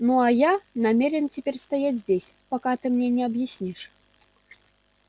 ну а я намерен теперь стоять здесь пока ты мне не объяснишь